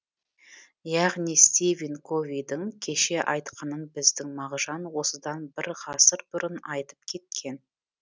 яғни стивен ковидің кеше айтқаны біздің мағжан осыдан бір ғасыр бұрын айтып кеткен